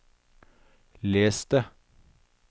les det